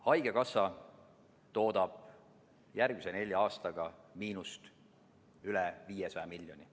Haigekassa toodab järgmise nelja aastaga miinust üle 500 miljoni.